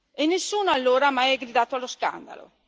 E nessuno allora ha mai gridato allo scandalo.